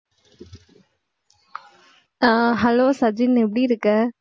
ஆஹ் hello Sajin எப்படி இருக்க